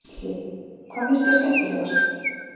Gísli: Hvað finnst þér skemmtilegast?